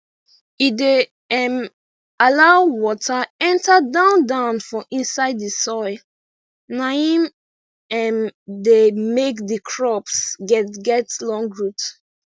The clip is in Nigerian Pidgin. e dey um allow water enter down down for inside di soil naim um dey make di crops get get long root